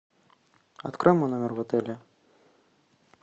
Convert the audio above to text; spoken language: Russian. открой мой номер в отеле